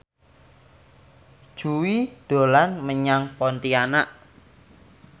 Jui dolan menyang Pontianak